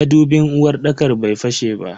Madubin uwarɗakar bai fashe ba.